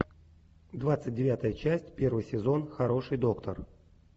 двадцать девятая часть первый сезон хороший доктор